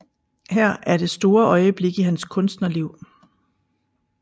Her er det store øjeblik i hans kunstnerliv